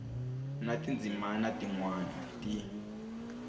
na tindzimana tin wana ti